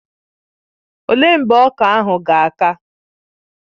Ọ léé mgbe ọka ahụ ga-aka?